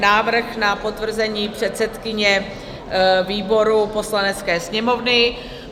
Návrh na potvrzení předsedkyně výboru Poslanecké sněmovny